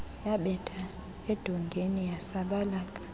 yabetha edongeni yasabalaka